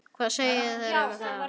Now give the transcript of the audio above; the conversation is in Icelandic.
Hvað segið þér um það?